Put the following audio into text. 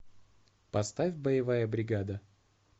поставь боевая бригада